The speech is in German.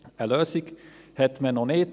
Eine Lösung hat man noch nicht.